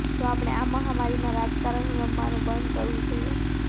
જો આપણે આ મહામારીમાં રાજકારણ રમવાનું બંધ કરવું જોઈએ